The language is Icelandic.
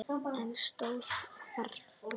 En stóð þarna.